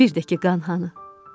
Bir də ki qan hanı?